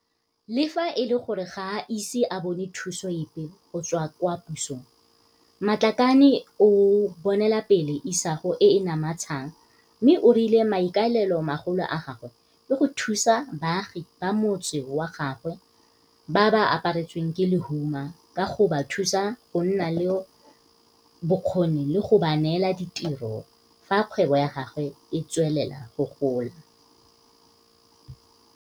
Le fa e le gore ga a ise a bone thuso epe go tswa kwa pusong, Matlakane o bonelapele isago e e namatshang mme o rile maikaelelo magolo a gagwe ke go thusa baagi ba motse wa gaabo ba ba apa retsweng ke lehuma ka go ba thusa go nna le bokgoni le go ba neela ditiro fa kgwebo ya gagwe e tswelela go gola.